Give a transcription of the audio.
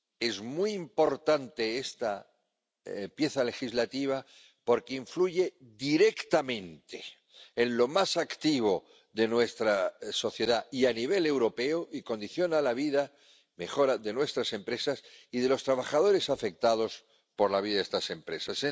Es muy importante esta pieza legislativa porque influye directamente en lo más activo de nuestra sociedad y, a nivel europeo, mejora la vida de nuestras empresas y de los trabajadores afectados por la vida de estas empresas.